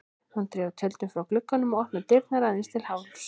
Hún dregur tjöldin frá glugganum og opnar dyrnar aðeins til hálfs.